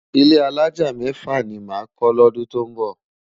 Ilé álájá mèfá ni má kò lòdún tó nbò